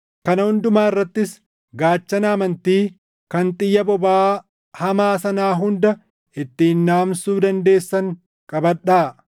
Kana hundumaa irrattis gaachana amantii kan xiyya bobaʼaa hamaa sanaa hunda ittiin dhaamsuu dandeessan qabadhaa.